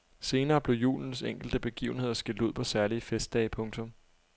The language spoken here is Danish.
Senere blev julens enkelte begivenheder skilt ud på særlige festdage. punktum